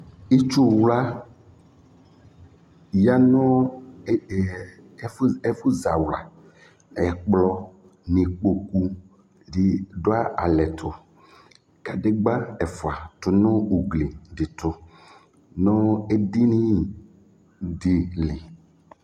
Itsu wla, ya nu e e ɛ ɛfu zawla, ɛkplɔ n'ikpoku di du alɛ tu Kǝdegbǝ efua tu nu ugli di tu nu edini di lɩ